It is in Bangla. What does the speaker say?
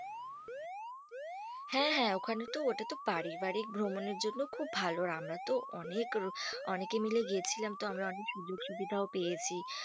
হ্যাঁ হ্যাঁ ওখানে তো ওটা তো পারিবারিক ভ্রমণের জন্য খুব ভালো। আর আমরা তো অনেক অনেকে মিলে গেছিলাম তো আমরা অনেক সুযোগ সুবিধাও পেয়েছি।